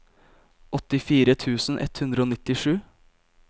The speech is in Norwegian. åttifire tusen ett hundre og nittisju